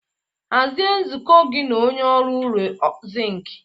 Hazie nzukọ gị na onye ọrụ ụlọ ọrụ zinc.